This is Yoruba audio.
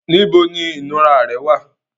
Níbo ni ìnura rẹ wà?